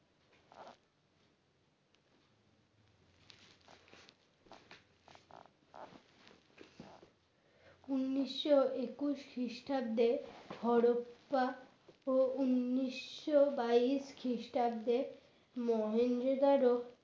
উন্নিশো একুশ খ্রিস্টাব্দে হরপ্পা ও উন্নিশো বাইশ খ্রিস্টাব্দের মহেঞ্জোদার